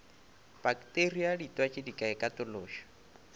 pakteria ditwatši di ka ikatološa